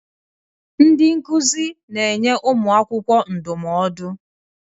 Ndị nkuzi na-enye ụmụ akwụkwọ ndụmọdụ